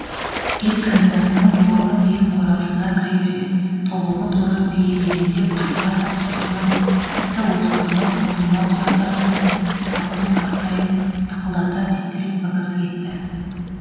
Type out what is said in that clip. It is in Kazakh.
ет комбинатының дуалы биік қорасына кіре бере тобылғы торы бие елеңдеп қайта қайта пысқырынып тіпті осқырынып құйма тұяқтарымен қораптың тақтайын тықылдата тепкілеп мазасы кетті